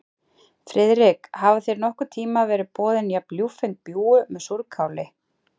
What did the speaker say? Friðrik, hafa þér nokkurn tíma verið boðin jafn ljúffeng bjúgu með súrkáli?